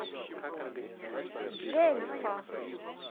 джельфа